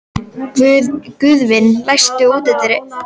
Guðvin, læstu útidyrunum.